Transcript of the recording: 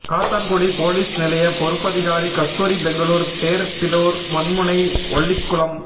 Kattankudy police நிலைய பொறுப்பதிகாரி கஸ்தூரி பெங்களுர் டேர்பிடோர் மண்முனை ஒல்லிக்குளம்